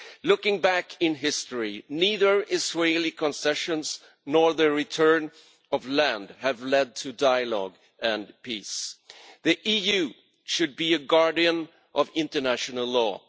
Looking back in history, neither Israeli concessions nor the return of land have led to dialogue and peace. The EU should be a guardian of international law.